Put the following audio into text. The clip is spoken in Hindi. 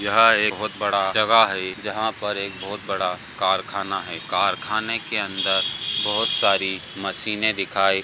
यह एक बहुत बड़ा जगह है जहाँ पर एक बहुत बड़ा कारखाना है| कारखाने के अंदर बहुत सारी मशीने दिखाई --